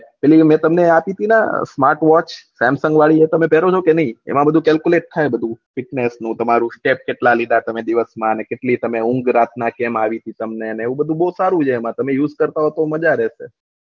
પેલી મેં તમને હું આપી થી ના smart watch સેમન્સ્ન્ગ વાડી એ તમે પેહ્રો છો કે નહી એમાં બધું smart watch એ બધું તમારે સ્ટેપ કેટલા લીધા તમે દિવસ માં ને કેટલી ઊંઘ કેટલી આવેલી તમને આવું બધું બહુ સારું છે એમના તમે ઉઝ કરતા હોય તો મજે રહશે